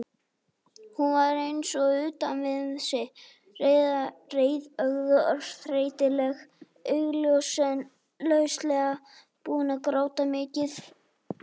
Hún var eins og utan við sig, rauðeygð og þreytuleg, augljóslega búin að gráta mikið.